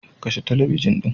Ka kashe talabijin ɗin.